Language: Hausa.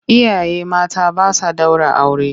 Iyaye mata ba sa ɗaura aure.